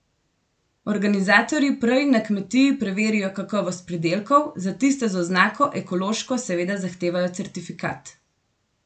Organizatorji prej na kmetiji preverijo kakovost pridelkov, za tiste z oznako ekološko seveda zahtevajo certifikat.